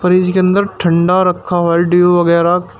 Fridge के अंदर ठंडा रखा हुआ ड्यू वगैरा।